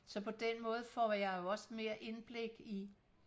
så på den måde får jeg jo også mere indblik i